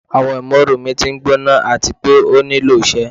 Awọn imooru mi ti ngbona ati pe o nilo iṣẹ